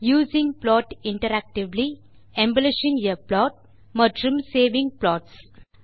using plot interactively embellishing a plot மற்றும் saving plots